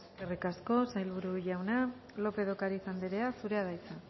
eskerrik asko sailburu jauna lópez de ocariz anderea zurea da hitza